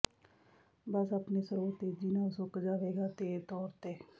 ਬਸ ਆਪਣੇ ਸਰੋਤ ਤੇਜ਼ੀ ਨਾਲ ਸੁੱਕ ਜਾਵੇਗਾ ਦੇ ਤੌਰ ਤੇ